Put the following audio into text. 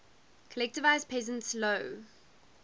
collectivized peasants low